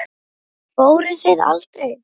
Fóruð þið aldrei?